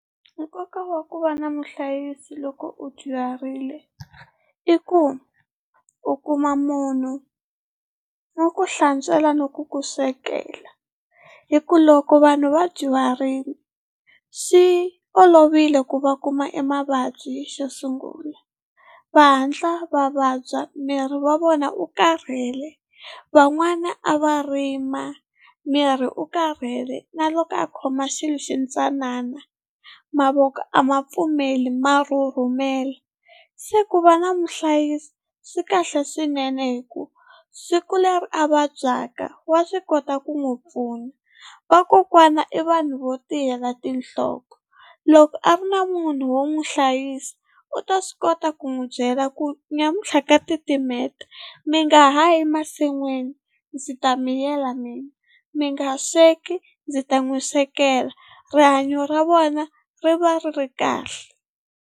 Nkoka wa ku va na muhlayisi loko u dyuharile i ku u kuma munhu wo ku hlantswela na ku ku swekela, hi ku loko vanhu va dyuharile xi olovile ku va kuma emavabyi xo sungula va hatla va vabya miri wa vona u karhele. Van'wana a va rima miri u karhele na loko a khoma xilo xi ntsanana mavoko a ma pfumeli ma rhurhumela se ku va na muhlayisi swi kahle swinene hikuva siku leri a vabyaka wa swi kota ku n'wi pfuna, vakokwana i vanhu vo tiyela tinhloko loko a ri na munhu wo n'wi hlayisa u ta swi kota ku n'wi byela ku namuntlha ka titimeta mi nga ha yi masin'wini ndzi ta mi yela mina, mi nga sweka ndzi ta mi swekela rihanyo ra vona ri va ri ri kahle.